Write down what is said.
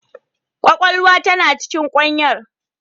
Kwakwalwa tana cikin kwanyar.